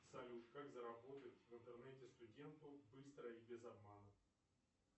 салют как заработать в интернете студенту быстро и без обмана